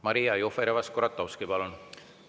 Maria Jufereva-Skuratovski, palun!